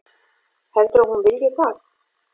Heldurðu að hún vilji það?